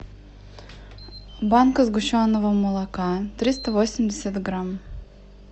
банка сгущенного молока триста восемьдесят грамм